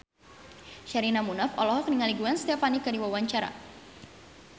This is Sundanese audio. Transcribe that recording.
Sherina Munaf olohok ningali Gwen Stefani keur diwawancara